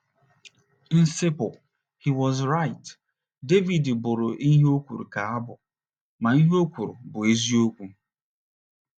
nciple, he was right! Devid bụrụ ihe a o kwuru ka abụ, ma, ihe o kwuru bụ eziokwu.